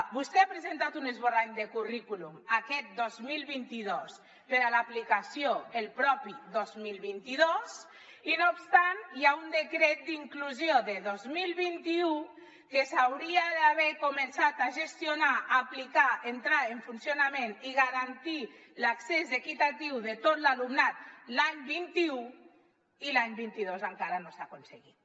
vostè ha presentat un es·borrany de currículum aquest dos mil vint dos per a l’aplicació el propi dos mil vint dos i no obstant hi ha un decret d’inclusió de dos mil vint u que s’hauria d’haver començat a gestionar a aplicar entrar en funcionament i garantir l’accés equitatiu de tot l’alumnat l’any vint un i l’any vint dos encara no s’ha aconseguit